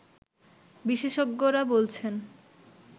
বিশেষজ্ঞরা বলছেন